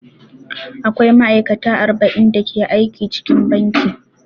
Akwai ma'aikata arba'in da ke aiki cikin banki.